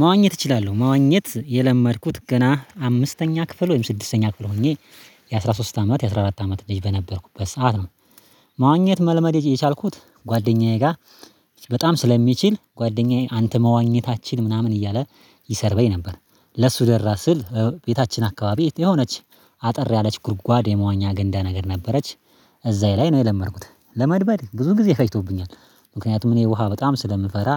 መዋኘት እችላለሁ መዋኘት የለመድኩት ገና አምስተኛ ክፍል ወይም ስድስተኛ ክፍል ሆኜ የአሥራ ሶስት አመት የአሥራ አራት አመት ልጅ በነበርኩበት ሰዓት ነው። ማዋኘት መለመድ የቻልኩት ጓደኛዬ ጋር በጣም ስለሚችል ጓደኛዬ አንተ መዋኘት አትችልም ምናምን እያለ ይሰድበኝ ነበር። ለሱ ደራ ስል ቤታችን አካባቢ የሆነች አጠር ያለች ጉድጓድ የመዋኛ ገንዳ ነገር ነበረች። እዛዬ ላይ ነው የለመድኩት ለመልመድ ብዙ ጊዜ ፈጅቶብኛል። ምክንያቱም እኔ ውሃ በጣም ስለምፈራ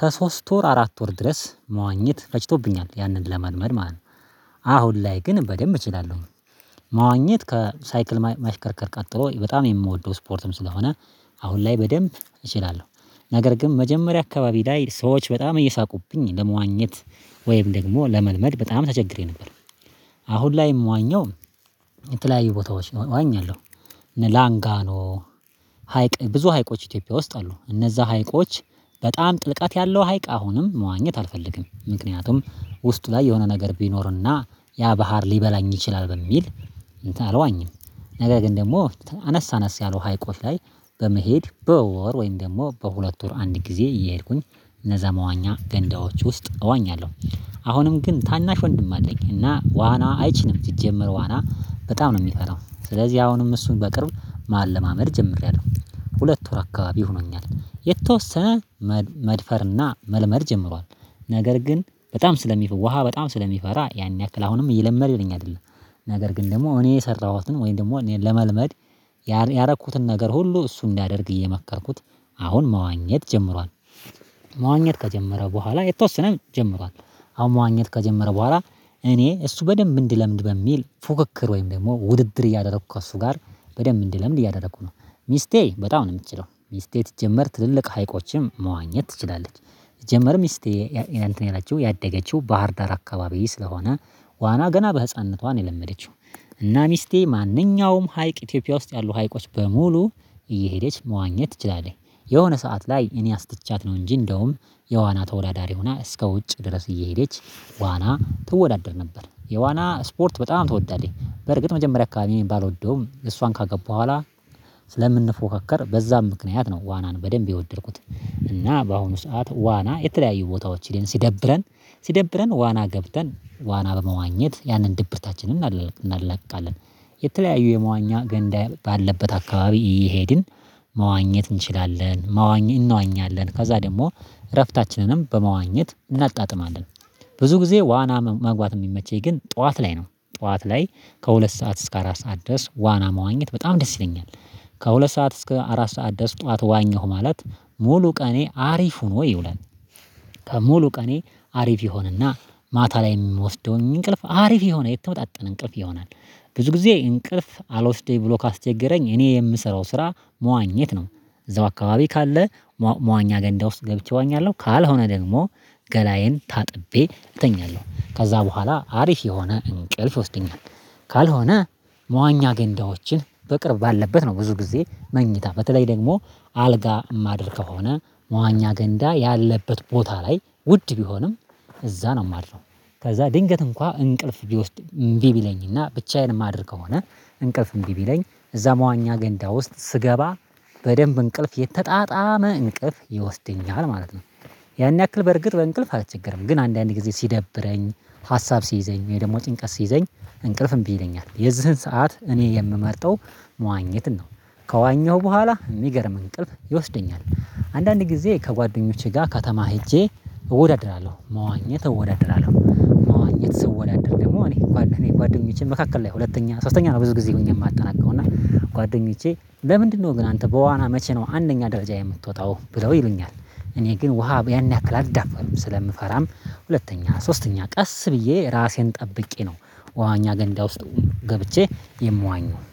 ከሶስት ወር አራት ወር ድረስ መዋኘት ፈጅቶብኛል ያንን ለመልመድ ማለት ነው። አሁን ላይ ግን በደንብ እችላለሁ። መዋኘት ከሳይክል ማሽከርከር ቀጥሎ በጣም የምወደው ስፖርትም ስለሆነ አሁን ላይ በደንብ እችላለሁ ነገር ግን መጀመሪያ አካባቢ ላይ ሰዎች በጣም እየሳቁብኝ ለመዋኘት ወይም ደግሞ ለመልመድ በጣም ተቸግሬ ነበር። አሁን ላይ የምዋኘው የተለያዩ ቦታዎች ነው አዋኛለሁ እና ላንጋኖ ነው። ሀይቅ ብዙ ሀይቆች ኢትዮጵያ ውስጥ አሉ እነዛ ሀይቆች በጣም ጥልቀት ያለው ሀይቅ አሁንም መዋኘት አልፈልግም። ምክንያቱም ውስጡ ላይ የሆነ ነገር ቢኖርና ያ ባህር ሊበላኝ ይችላል በሚል አልዋኝም። ነገር ግን ደግሞ አነስ አነስ ያለው ሀይቆች ላይ በመሄድ በወር ወይም ደግሞ በሁለት ወር አንድ ጊዜ እየሄድኩኝ እነዛ መዋኛ ገንዳዎች ውስጥ እዋኛለሁ። አሁንም ግን ታናሽ ወንድም አለኝ እና ዋና አይችልም ሲጀምር ዋና በጣም ነው የሚፈራው ስለዚህ አሁንም እሱን በቅርብ ማለማመድ ጀምሬያለሁ ሁለት ወር አካባቢ ሆኖኛል የተወሰነ መድፈርና መልመድ ጀምሯል። ነገር ግን በጣም ስለሚፈራ ውሃ በጣም ስለሚፈራ ያን ያክል አሁንም እየለመደልኝ አይደለም። ነገር ግን ደግሞ እኔ የሰራኋትን ወይም ደግሞ እኔን ለመልመድ ያረኩትን ነገር ሁሉ እሱ እንዲያደርግ እየመከርኩት አሁን መዋኘት ጀምሯል። መዋኘት ከጀመረ በኋላ የተወሰነ ጀምሯል አሁን መዋኘት ከጀመረ በኋላ እኔ እሱ በደንብ እንዲለምድ በሚል ፉክክር ወይም ደግሞ ውድድር እያደረኩ ከእሱ ጋር በደንብ እንዲለምድ እያደረኩ ነው። ሚስቴ በጣም ነው የምትችለው ሚስቴ ሲጀምር ትልልቅ ሀይቆችም መዋኘት ትችላለች ሲጀምር ሚስቴ ያደገችው ባህር ዳር አካባቢ ስለሆነ ዋና ገና በህፃንነቷ ነው የለመደችው። እና ሚስቴ ማንኛውም ሀይቅ ኢትዮጵያ ውስጥ ያሉ ሀይቆች በሙሉ እየሄደች መዋኘት ትችላለች። የሆነ ሰዓት ላይ እኔ አስተቻት ነው እንጂ እንደውም የዋና ተወዳዳሪ ሆና እስከ ውጭ ድረስ እየሄደች ዋና ትወዳደር ነበር የዋና ስፖርት በጣም ትወዳለች በርግጥ መጀመሪያ አካባቢ ባልወደውም እሷን ካገባሁ በኋላ ስለምንፎካከር በዛም ምክንያት ነው ዋናን በደንብ የወደድኩት እና በአሁኑ ሰዓት ዋና የተለያዩ ቦታዎች ላይ ሲደብረን ሲደብረን ዋና ገብተን ዋና በመዋኘት ያንን ድብርታችንን እናላቅቃለን። የተለያዩ የመዋኛ ገንዳ ባለበት አካባቢ እየሄድን መዋኘት እንችላለን መዋኘት እንዋኛለን ከዛ ደግሞ እረፍታችንንም በመዋኘት እናጣጥማለን። ብዙ ጊዜ ዋና መግባት የሚመቸኝ ግን ጠዋት ላይ ነው ጠዋት ላይ ከሁለት ሰዓት እስከ አራት ሰዓት ድረስ ዋና መዋኘት በጣም ደስ ይለኛል። ከሁለት ሰዓት እስከ አራት ሰዓት ድረስ ጠዋት ዋኘሁ ማለት ሙሉ ቀኔ አሪፉ ሆኖ ይውላል። ከሙሉ ቀኔ አሪፍ ይሆንና ማታ ላይ የምወስደውኝ እንቅልፍ አሪፍ የሆነ የተመጣጠን እንቅልፍ ይሆናል። ብዙ ጊዜ እንቅልፍ አልወስደኝ ብሎ ካስቸገረኝ እኔ የምሰራው ስራ መዋኘት ነው። እዛው አካባቢ ካለ መዋኛ ገንዳ ውስጥ ገብቼ እዋኛለሁ ካልሆነ ደግሞ ገላዬን ታጥቤ እተኛለሁ ከዛ በኋላ አሪፍ የሆነ እንቅልፍ ይወስደኛል። ካልሆነ መዋኛ ገንዳዎችን በቅርብ ባለበት ነው ብዙ ጊዜ መኝታ በተለይ ደግሞ አልጋ ማድር ከሆነ መዋኛ ገንዳ ያለበት ቦታ ላይ ውድ ቢሆንም እዛ ነው የማድረው። ከዛ ድንገት እንኳን እንቅልፍ ቢወስድ እምቢ ቢለኝና ብቻዬን የማድር ከሆነ እንቅልፍ እንቢ ቢለኝ እዛ መዋኛ ገንዳ ውስጥ ስገባ በደንብ እንቅልፍ የተጣጣመ እንቅፍ ይወስድኛል ማለት ነው። ያን ያክል በርግጥ በእንቅልፍ አልቸገርም ግን አንዳንዴ ጊዜ ሲደብረኝ ሀሳብ ሲይዘኝ ወይ ደግሞ ጭንቀት ሲይዘኝ እንቅልፍ እምቢ ይለኛል የዚህን ሰዓት እኔ የምመርጠው መዋኘትን ነው። ከዋኘሁ በኋላ የሚገርም እንቅልፍ ይወስደኛል አንዳንድ ጊዜ ከጓደኞቼ ጋር ከተማ ሄጄ እወዳድራለሁ መዋኘት እወዳድራለሁ መዋኘት ስወዳደር ደግሞ እኔ ጓደኞቼን መካከል ላይ ሁለተኛ ሶስተኛ ነው። ብዙ ጊዜ ሆኜ የማታጠናቅቀው እና ጓደኞቼ በምንድነው ግን አንተ በዋና መቼ ነው አንደኛ ደረጃ የምትወጣው ብለው ይሉኛል? እኔ ግን ውሃ ያን ያክል አልዳፈርም ስለምፈራም ሁለተኛ ሶስተኛ ቀስ ብዬ ራሴን ጠብቄ ነው መዋኛ ገንዳ ውስጥ ገብቼ የምዋኘው